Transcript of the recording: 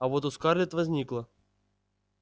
а вот у скарлетт возникло